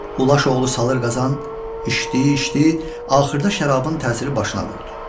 Ulaş oğlu Salur Qazan içdi, içdi, axırda şərabın təsiri başına vurdu.